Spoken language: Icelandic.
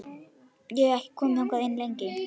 Ég hef ekki komið þangað lengi.